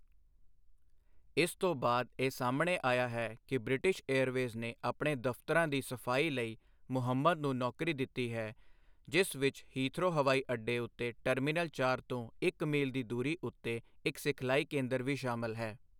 ਇਸ ਤੋਂ ਬਾਅਦ ਇਹ ਸਾਹਮਣੇ ਆਇਆ ਹੈ ਕਿ ਬ੍ਰਿਟਿਸ਼ ਏਅਰਵੇਜ਼ ਨੇ ਆਪਣੇ ਦਫ਼ਤਰਾਂ ਦੀ ਸਫਾਈ ਲਈ ਮੁਹੰਮਦ ਨੂੰ ਨੌਕਰੀ ਦਿੱਤੀ ਹੈ, ਜਿਸ ਵਿੱਚ ਹੀਥਰੋ ਹਵਾਈ ਅੱਡੇ ਉੱਤੇ ਟਰਮੀਨਲ ਚਾਰ ਤੋਂ ਇੱਕ ਮੀਲ ਦੀ ਦੂਰੀ ਉੱਤੇ ਇੱਕ ਸਿਖਲਾਈ ਕੇਂਦਰ ਵੀ ਸ਼ਾਮਲ ਹੈ।